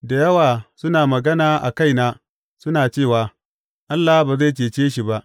Da yawa suna magana a kaina suna cewa, Allah ba zai cece shi ba.